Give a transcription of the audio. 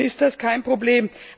Dann ist das kein Problem.